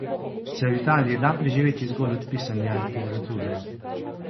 Se v Italiji da preživeti zgolj od pisanja literature?